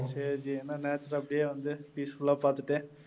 சரி ஜி. என்ன natrure அப்படியே வந்து peaceful லா பார்த்துட்டு